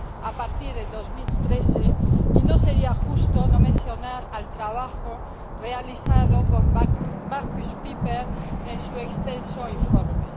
a partir de 2013, y no sería justo no mencionar el trabajo realizado por Markus Pieper en su extenso informe.